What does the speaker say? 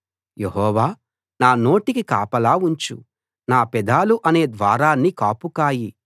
యెహోవా నా నోటికి కాపలా ఉంచు నా పెదాలు అనే ద్వారాన్ని కాపు కాయి